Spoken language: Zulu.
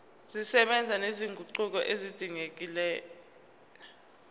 zisebenza nezinguquko ezidingekile